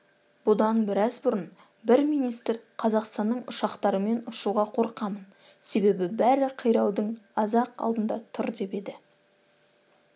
бұдан біраз бұрын бір министр қазақстанның ұшақтарымен ұшуға қорқамын себебі бәрі қираудың аз-ақ алдында тұр деп еді